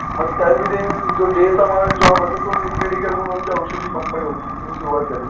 मग त्या मध्ये जो डे चा मला जॉब होता तो वीण मेडिकल म्हणून आमची औषध ची कंपनी होती तिथून सुरुवात झाली.